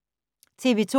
TV 2